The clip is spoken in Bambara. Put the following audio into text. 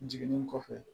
Jiginni kɔfɛ